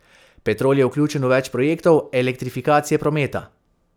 Petrol je vključen v več projektov elektrifikacije prometa.